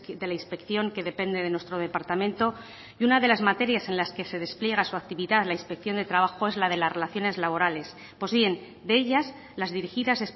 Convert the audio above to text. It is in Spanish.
de la inspección que depende de nuestro departamento y una de las materias en las que se despliega su actividad la inspección de trabajo es la de las relaciones laborales pues bien de ellas las dirigidas